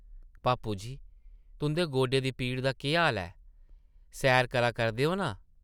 पापू जी, तुंʼदे गोडे दी पीड़ा दा केह् हाल ऐ? सैर करा करदे ओ नां?